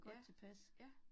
Ja, ja